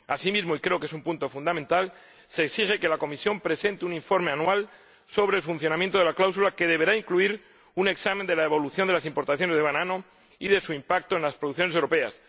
Asimismo, y creo que es un punto fundamental, se exige que la Comisión presente un informe anual sobre el funcionamiento de la cláusula, que deberá incluir un examen de la evolución de las importaciones de banano y de su impacto en las producciones europeas.